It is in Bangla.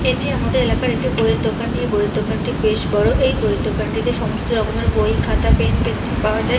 এটি আমাদের এলাকার একটি বইয়ের দোকান এই বইয়ের দোকানটি বেশ বড় এই বইয়ের দোকানটিতে সমস্ত রকমের বই খাতা পেন পেন্সিল পাওয়া যায়।